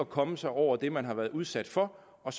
komme sig over det man har været udsat for og